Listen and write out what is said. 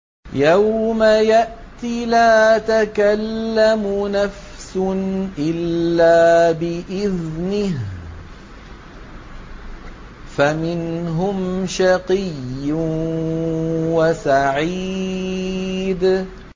يَوْمَ يَأْتِ لَا تَكَلَّمُ نَفْسٌ إِلَّا بِإِذْنِهِ ۚ فَمِنْهُمْ شَقِيٌّ وَسَعِيدٌ